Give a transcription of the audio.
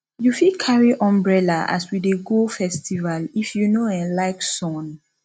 you fit carry umbrella as we dey go festival if you no um like sun